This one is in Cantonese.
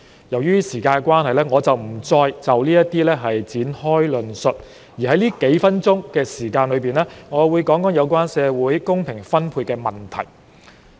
由於時間關係，我不再就這些方面展開論述，我會在這數分鐘談談有關社會公平分配的問題。